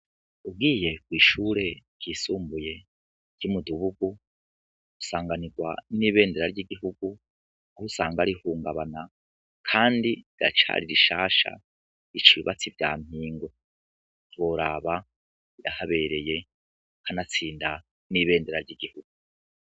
Ugiye kwishure ryisumbuye ryo mu gihugu usanganirwa nibendera ry'igihugu aho usanga rihungabana kandi riracari rishasha rica ibibatsi vyampingwe ntiworaba rirahabereye kanatsinda nibendera ryigihugu.